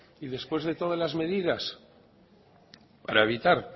y después de todas las medidas para evitar